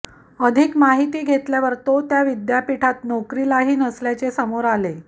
अधिक माहिती घेतल्यावर तो त्या विद्यापीठात नोकरीलाही नसल्याचे समोर आले